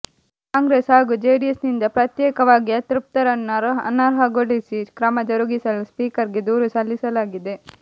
ಕಾಂಗ್ರೆಸ್ ಹಾಗೂ ಜೆಡಿಎಸ್ ನಿಂದ ಪ್ರತ್ಯೇಕವಾಗಿ ಅತೃಪ್ತರನ್ನು ಅನರ್ಹಗೊಳಿಸಿ ಕ್ರಮ ಜರುಗಿಸಲು ಸ್ಪೀಕರ್ ಗೆ ದೂರು ಸಲ್ಲಿಸಲಾಗಿದೆ